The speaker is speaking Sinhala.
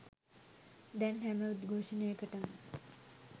දැන් හැම උද්ඝෝෂණයකටම .